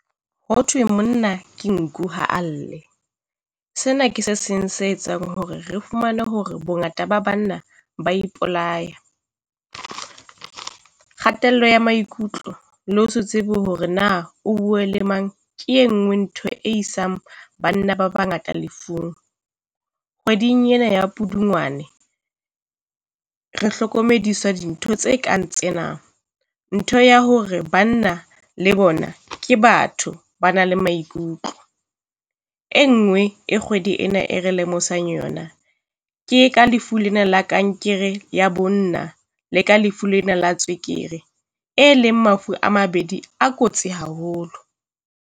Hothwe monna ke nku ha lle, sena ke se seng se etsang hore re fumane hore bongata ba banna ba ipolaya. Kgatello ya maikutlo le ho se tsebe hore na o buwe le mang ke e nngwe ntho e isang banna ba bangata lefung. Kgweding ena ya Pudungwane re hlokomediswa dintho tse kang tsena, ntho ya hore banna le bona ke batho ba na le maikutlo. E ngwe e kgwedi ena e re lemosang yona ke ka lefu lena la kankere ya bonna le ka lefu lena la tswekere, e leng mafu a mabedi a kotsi haholo.